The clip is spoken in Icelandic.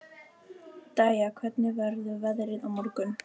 Dæja, hvernig verður veðrið á morgun?